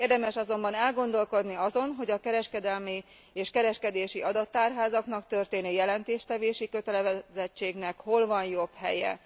Érdemes azonban elgondolkodni azon, hogy a kereskedelmi és a kereskedési adattárházaknak történő jelentéstevési kötelezettségnek hol van jobb helye.